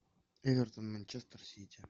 эвертон манчестер сити